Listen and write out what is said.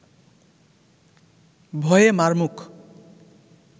ভয়ে মার মুখ